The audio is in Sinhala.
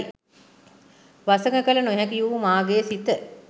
වසඟ කළ නොහැකි වූ මාගේ සිත